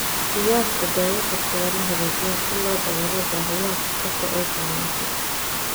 Qiyaasta daawo kasta waa la hagaajiyaa si loo daboolo baahiyaha qof kasta oo ay saamaysay.